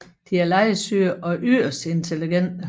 De er legesyge og yderst intelligente